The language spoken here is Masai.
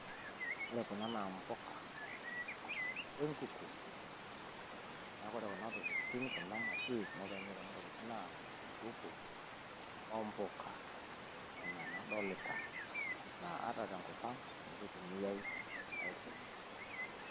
Wore kuna naa mpuka wenkuku neaku wore kuna tokiting kuna materials naitayunyieki kuna tokiting naa enkuku ombuka enaa enadolita naa ata tenkop ang naa ninye eitumiai aitayunyie